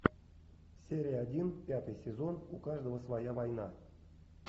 серия один пятый сезон у каждого своя война